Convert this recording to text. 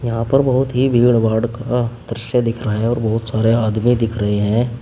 यहां पर बहोत ही भीड़भाड़ का दृश्य दिख रहा है और बहोत सारे आदमी दिख रहे हैं।